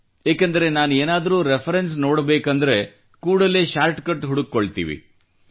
ಏಕೆಂದರೆ ಏನಾದರೂ ರೆಫರೆನ್ಸ್ ನೋಡಬೇಕೆಂದಲ್ಲಿ ಕೂಡಲೇ ಶಾರ್ಟ ಕಟ್ ಹುಡುಕಿಕೊಳ್ಳುತ್ತೇವೆ